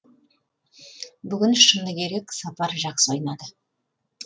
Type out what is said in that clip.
бүгін шыны керек сапар жақсы ойнады